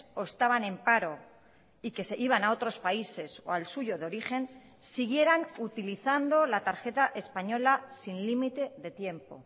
o estaban en paro y que se iban a otros países o al suyo de origen siguieran utilizando la tarjeta española sin límite de tiempo